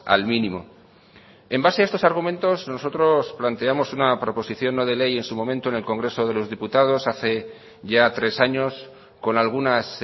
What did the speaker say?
al mínimo en base a estos argumentos nosotros planteamos una proposición no de ley en su momento en el congreso de los diputados hace ya tres años con algunas